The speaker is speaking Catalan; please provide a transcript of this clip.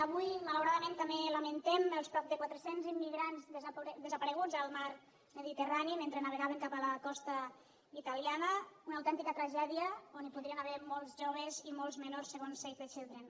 avui malauradament també lamentem els prop de quatre cents immigrants desapareguts al mar mediterrani mentre navegaven cap a la costa italiana una autèntica tragèdia on hi podrien haver molts joves i molts menors segons save the children